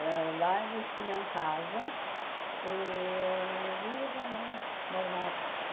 Uh lá eles tinham casas e viveram lá normal.